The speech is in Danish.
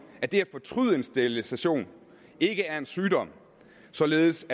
at det at fortryde en sterilisation ikke er en sygdom således